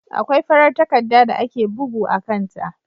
Akwai farar takarda da ake bugu a kan ta.